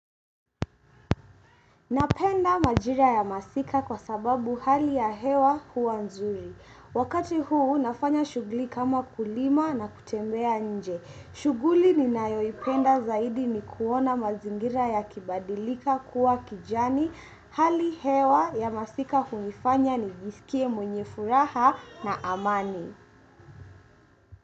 Napenda majira ya masika kwa sababu hali ya hewa hua nzuri. Wakati huu nafanya shuguli kama kulima na kutembea nje. Shuguli ninayoipenda zaidi ni kuona mazingira yakibadilika kuwa kijani. Hali hewa ya masika huifanya nijisikie mwenye furaha na amani.